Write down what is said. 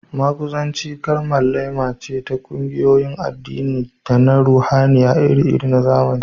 Maguzanci kalmar laima ce ta ƙungiyoyin addini da na ruhaniya iri-iri na zamani